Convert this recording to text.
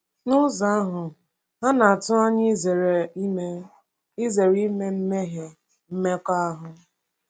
N’ụzọ ahụ, ha na-atụ anya izere ime izere ime mmehie mmekọahụ.